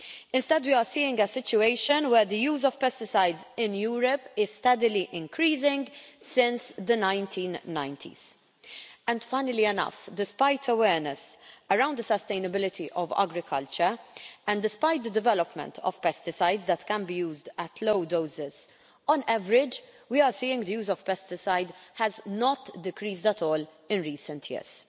Instead, we are seeing a situation where the use of pesticides in Europe has been steadily increasing, since the 1990s. And funnily enough, despite awareness around the sustainability of agriculture and despite the development of pesticides that can be used at low doses, on average, we are seeing the use of pesticides has not decreased at all in recent years.